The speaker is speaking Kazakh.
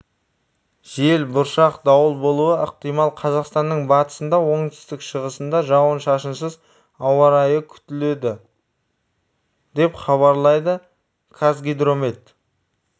жел бұршақ дауыл болуы ықтимал қазақстанның батысында оңтүстік-шығысында жауын-шашынсыз ауа райы күтіледі деп хабарлайды қазгидромет